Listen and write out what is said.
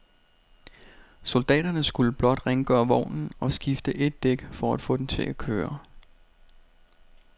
Soldaterne skulle blot rengøre vognen og skifte et dæk for at få den til at køre.